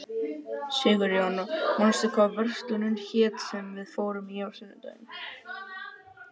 Sigurjón, manstu hvað verslunin hét sem við fórum í á sunnudaginn?